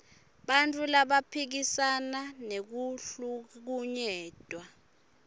bantfu labaphikisana nekuhlukunyetwa